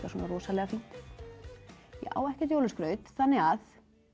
svona rosalega fínt ég á ekkert jólaskraut þannig að